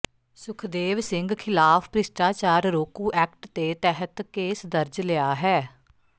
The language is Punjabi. ਸੁਖਦੇਵ ਸਿੰਘ ਖਿਲਾਫ ਭ੍ਰਿਸ਼ਟਾਚਾਰ ਰੋਕੂ ਐਕਟ ਦੇ ਤਹਿਤ ਕੇਸ ਦਰਜ ਲਿਆ ਹੈ